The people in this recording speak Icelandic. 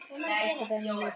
Ósköp er hún lítil.